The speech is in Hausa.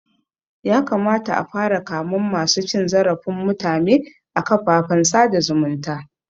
Ya kamata a fara kamen masu cin zarafin mutume a kafafen sada zumunta